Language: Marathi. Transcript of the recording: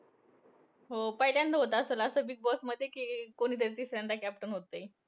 अं हो पहिल्यांदा होतं असेलं असं बिगबॉसमध्ये कि कोणीतरी तिसऱ्यांदा captain होतंय.